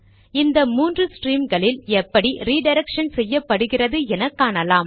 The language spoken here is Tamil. இந்த மூன்று ஸ்ட்ரீம்களில் எப்படி ரிடிரக்ஷன் செய்யப்படுகிறது என காணலாம்